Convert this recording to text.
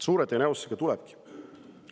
" Suure tõenäosusega tulebki!